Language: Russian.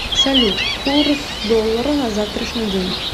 салют курс доллара на завтрашний день